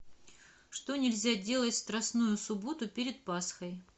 что нельзя делать в страстную субботу перед пасхой